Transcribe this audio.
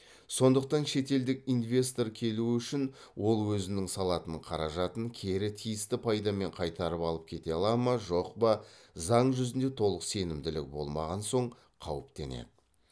сондықтан шетелдік инвестор келуі үшін ол өзінің салатын қаражатын кері тиісті пайдамен қайтарып алып кете ала ма жоқ па заң жүзінде толық сенімділігі болмаған соң қауіптенеді